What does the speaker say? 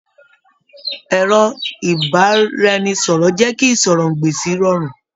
Ẹrọ ibaraẹnisọrọ jẹ kí ìsọ̀rọ̀-n-gbèsì rọrùn.